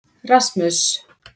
Rasmus